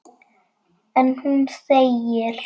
En hún þegir.